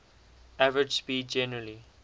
average speed generally